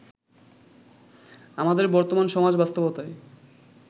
আমাদের বর্তমান সমাজ-বাস্তবতায়